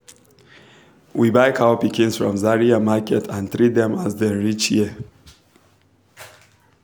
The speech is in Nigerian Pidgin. we buy cow pikins from zaria market and treat dem as dem reach here